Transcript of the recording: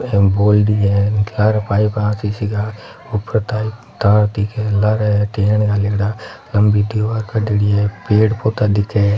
बोल्ड़ी है ऊपर तक तार दिखे हैं लारे है टेन गालियोडो लम्बी दिवार कडियोड़ी है पेड़ पौधा दिखे--